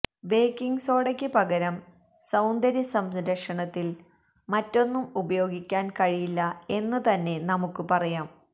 baking സോഡക്ക് പതരം സൌന്ദര്യസംരക്ഷണത്തില് മറ്റൊന്നും ഉപയോഗിക്കാന് കഴിയില്ല എന്ന് തന്നെ നമുക്ക് പറയാം